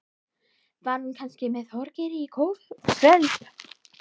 Var hún kannski með Þorgeiri í kvöld?